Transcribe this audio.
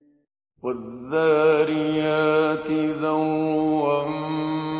وَالذَّارِيَاتِ ذَرْوًا